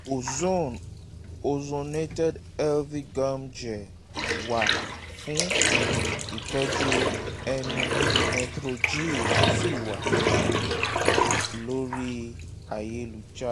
ozone (ozonated health gum gel) wà fún ìtọ́jú ẹnu metrogyl sì tún wà lórí ayélujára